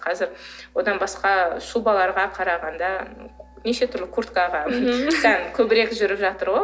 қазір одан басқа шубаларға қарағанда неше түрлі курткаға мхм сән көбірек жүріп жатыр ғой